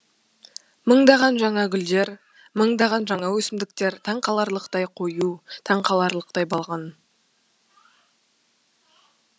мыңдаған жаңа гүлдер мыңдаған жаңа өсімдіктер таң қаларлықтай қою таң қаларлықтай балғын